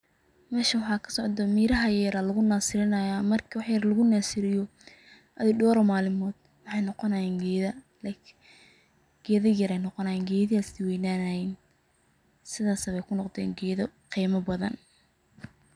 Meshan waxa kasocdo miraha yar yar aya lagu naserry, marki wax yar lagunasiriyo, door malimodh waxay nogonayan geeda, like geeda yar yar ayay nogonayan, geedihi aya siweynanayan, sidhas ayayb kunogden geeda gimaa badan.